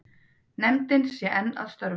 Nefndin sé enn að störfum.